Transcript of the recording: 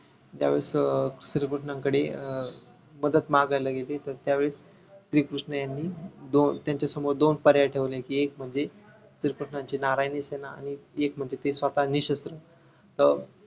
ज्यावेळेस अं श्रीकृष्णांकडे अं मदत मागायला गेले तर त्यावेळेस श्री कृष्ण ह्यांनी दोन त्यांच्यासमोर दोन पर्याय ठेवले कि एक म्हणजे श्री कृष्णांची नारायणी सेना आणि एक म्हणजे ते स्वतः निशस्त्र अं